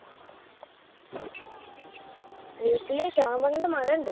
വീട്ടില് ചാമ്പങ്ങെൻറെ മരണ്ട്